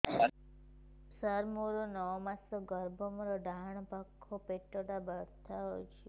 ସାର ମୋର ନଅ ମାସ ଗର୍ଭ ମୋର ଡାହାଣ ପାଖ ପେଟ ବଥା ହେଉଛି